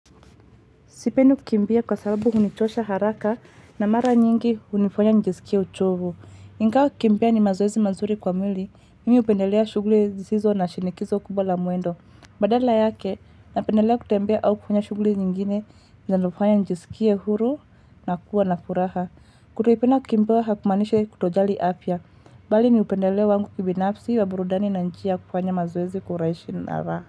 Sipendi kukimbia kwa sababu hunichosha haraka na mara nyingi hunifanya nijisikie uchovu. Ingawa kukimbia ni mazoezi mazuri kwa mwili, mimi hupendelea shughuli sisizo na shinikizo kubwa la mwendo. Badala yake, napendelea kutembea au kufanya shughuli nyingine, zinazofanya nijisikie huru na kuwa na furaha. Kuto kupenda kukimbia hakumaanishi kutojali afya, bali ni upendeleo wangu kibinafsi wa burudani na njia ya kufanya mazoezi kwa urahisi na raha.